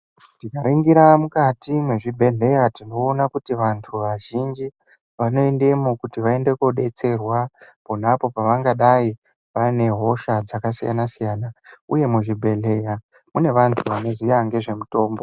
Tikaningira mukati mezvibhedhlera tinoona kuti vantu vazhinji vanoendamo kuti vaone kubatsirwa pona apo pavangadai vane hosha dzakasiyana siyana Uye muzvibhedhlera mune vantu vanoziya nezvemitombo.